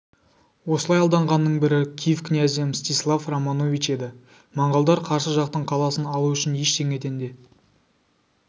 осылай алданғанның бірі киев князі мстислав романович еді монғолдар қарсы жақтың қаласын алу үшін ештеңеден де